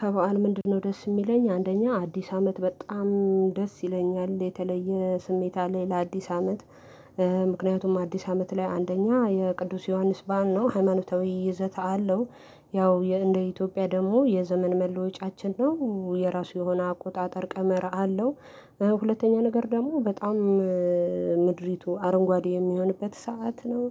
ከበዓል ምንድነው ደስ የሚለኝ አንደኛ አዲስ አመት በጣም ደስ ይለኛል የተለየ ስሜት አለኝ ለአዲስ አመት። ምክንያቱም አዲስ አመት ላይ አንደኛ የቅዱስ ዮሐንስ በዓል ነው ሃይማኖታዊ ይዘተ አለው። ያው እንደ ኢትዮጵያ ደግሞ የዘመን መለወጫችን ነው የራሱ የሆነ አቆጣጠር ቀመር አለው። ሁለተኛ ነገር ደግሞ በጣም ምድሪቱ አረንጓዴ የሚሆንበት ሰዓት ነው